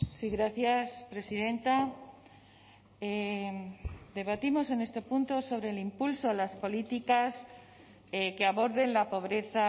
sí gracias presidenta debatimos en este punto sobre el impulso a las políticas que aborden la pobreza